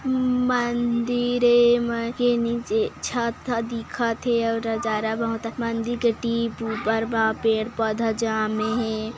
मंदिर ए मंदिर के नीचे छत ह दिखत हे अउ नजारा बहुत आ मंदीर के टिप उपर बा पेड़-पौधा जामे हे।